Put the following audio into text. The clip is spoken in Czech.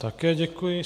Také děkuji.